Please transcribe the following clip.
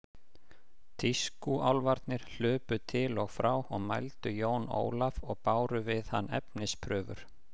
Tískúálfarnir hlupu til og frá og mældu Jón Ólaf og báru við hann efnisprufur.